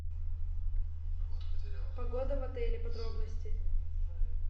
погода в отеле подробности